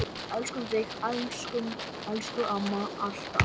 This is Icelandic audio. Elskum þig, elsku amma, alltaf.